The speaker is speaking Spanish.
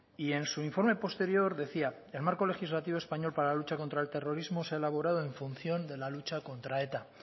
y en su informe posterior decía el marco legislativo español para la lucha contra el terrorismo se ha elaborado en función de la lucha contra eta